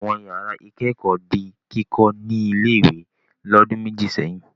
Àwọn ìyàrá-ìkẹ́kọ̀ọ́ di kíkọ́ ní ilé-ìwé lọ́dún méjì sẹ́yìn.